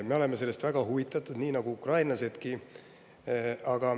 Meie oleme sellest väga huvitatud, nii nagu ukrainlasedki.